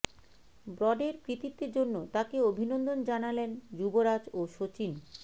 ব্রডের কৃতিত্বের জন্য তাকে অভিনন্দন জানালেন যুবরাজ ও সচিন